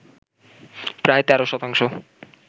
প্রায় ১৩ শতাংশ